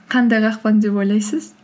қандай қақпан деп ойлайсыз